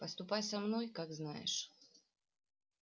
поступай со мной как знаешь